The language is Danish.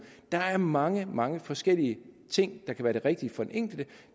der er mange mange forskellige ting der kan være det rigtige for den enkelte